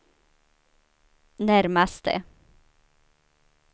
närmaste